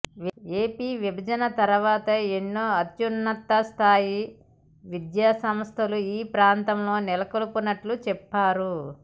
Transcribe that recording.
AP విభజన తర్వాత ఎన్నో అత్యున్నత స్థాయి విద్యాసంస్థలు ఈ ప్రాంతంలో నెలకొల్పినట్లు చెప్పారు